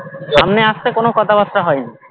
সামনে আস্তে কোনো কথা বার্তা হয় নি